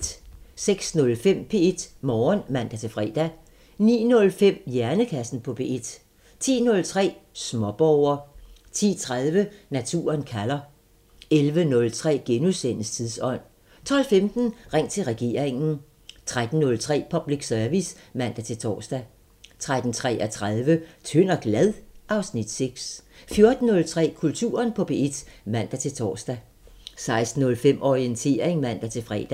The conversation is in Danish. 06:05: P1 Morgen (man-fre) 09:05: Hjernekassen på P1 10:03: Småborger 10:30: Naturen kalder 11:03: Tidsånd * 12:15: Ring til regeringen 13:03: Public Service (man-tor) 13:33: Tynd og glad? (Afs. 6) 14:03: Kulturen på P1 (man-tor) 16:05: Orientering (man-fre)